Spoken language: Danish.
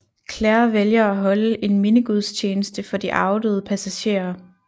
Claire vælger at holde en mindegudstjeneste for de afdøde passagerer